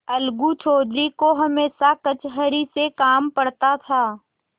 अलगू चौधरी को हमेशा कचहरी से काम पड़ता था